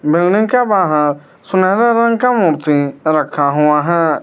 Building के बाहर सुनहरे रंग का मूर्ति रखा हुआ है।